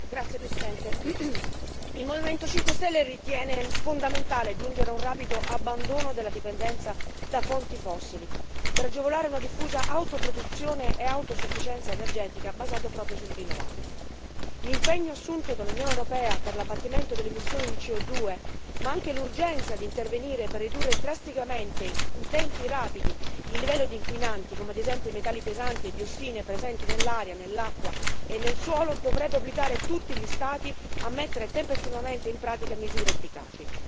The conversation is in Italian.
Signor Presidente, onorevoli colleghi, il Movimento 5 Stelle ritiene fondamentale giungere a un rapido abbandono della dipendenza da fonti fossili per agevolare una diffusa autoproduzione e un'autosufficienza energetica basate proprio sulle rinnovabili. L'impegno assunto dall'Unione europea per l'abbattimento delle emissioni di CO2, ma anche l'urgenza di intervenire per ridurre drasticamente in tempi rapidi il livello di inquinanti, come ad esempio i metalli pesanti e le diossine presenti nell'aria, nell'acqua e nel suolo, dovrebbero obbligare tutti gli Stati a mettere tempestivamente in pratica misure efficaci.